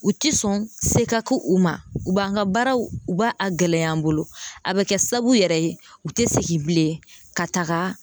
U tɛ sɔn se ka k'u u ma u b'an ka baaraw u b'a a gɛlɛya n bolo a bɛ kɛ sababu yɛrɛ ye u tɛ segin bilen ka taga